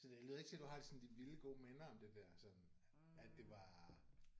Så det lyder ikke til du har de sådan de vilde gode minder om det der sådan at det var